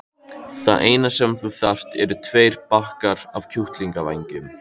Það eina sem þú þarft eru tveir bakkar af kjúklingavængjum.